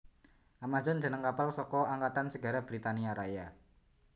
Amazon jeneng kapal saka Angkatan Segara Britania Raya